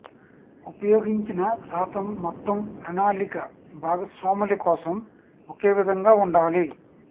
ఉపయోగించిన శాతం మొత్తం ప్రణాళిక భాగస్వాముల కోసం ఒకే విధంగా ఉండాలి